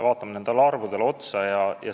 Vaatame neid arve.